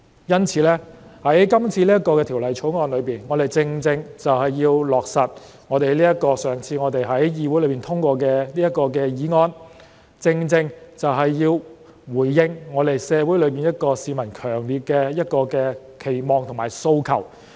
因此，在今次這項《條例草案》中，我們正正要落實我們上次在議會內通過的這項議案，要回應社會上市民一個強烈的期望和訴求。